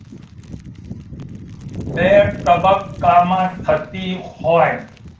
બે તબક્કામાં થતી હોય